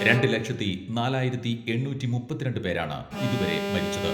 രണ്ട് ലക്ഷത്തി നാലായിരത്തി എണ്ണൂറ്റി മുപ്പത്തിരണ്ട് പേരാണ് ഇതുവരെ മരിച്ചത്.